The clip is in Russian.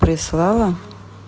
прислала